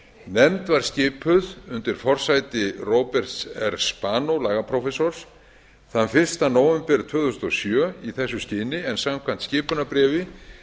var skipuð undir forsæti róberts r spanó lagaprófessors þann fyrsta nóvember tvö þúsund og sjö í þessu skyni en samkvæmt skipunarbréfi